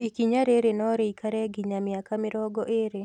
Ikinya rĩrĩ no rĩikare nginya mĩaka mĩrongo ĩrĩ